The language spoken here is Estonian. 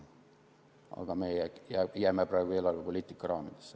Aga meie jääme praegu eelarvepoliitika raamidesse.